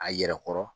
A yɛrɛ kɔrɔ